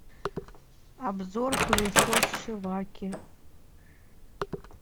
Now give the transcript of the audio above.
обзор пылесос шиваки